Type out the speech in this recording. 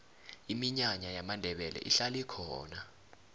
iminyanya yamandebele ihlala ikhona